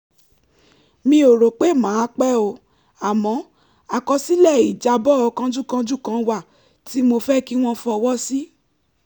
mi ò rò pé màá pẹ́ o àmọ́ àkọsílẹ̀ ìjábọ̀ kánjúkánjú kan wà tí mo fẹ́ kí wọ́n fọwọ́ sí